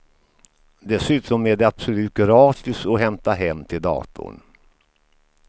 Dessutom är det absolut gratis att hämta hem till datorn.